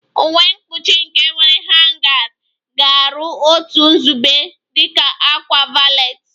Uwe mkpuchi nke nwere hangers ga-aru otu nzube dị ka a ákwà valet